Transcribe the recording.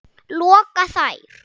loka þær.